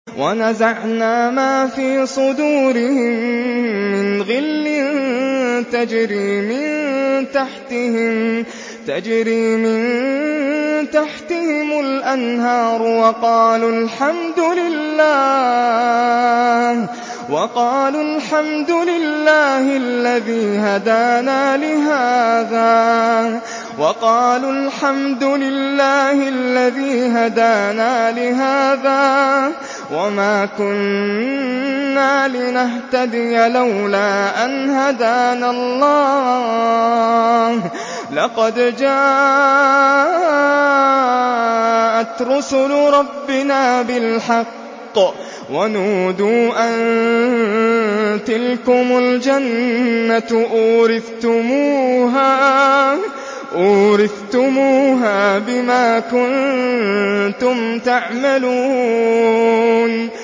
وَنَزَعْنَا مَا فِي صُدُورِهِم مِّنْ غِلٍّ تَجْرِي مِن تَحْتِهِمُ الْأَنْهَارُ ۖ وَقَالُوا الْحَمْدُ لِلَّهِ الَّذِي هَدَانَا لِهَٰذَا وَمَا كُنَّا لِنَهْتَدِيَ لَوْلَا أَنْ هَدَانَا اللَّهُ ۖ لَقَدْ جَاءَتْ رُسُلُ رَبِّنَا بِالْحَقِّ ۖ وَنُودُوا أَن تِلْكُمُ الْجَنَّةُ أُورِثْتُمُوهَا بِمَا كُنتُمْ تَعْمَلُونَ